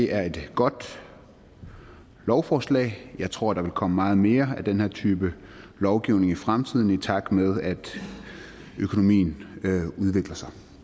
er et godt lovforslag jeg tror der vil komme meget mere af den her type lovgivning i fremtiden i takt med at økonomien udvikler sig